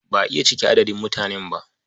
Ba a iya cike adadin mutanen ba.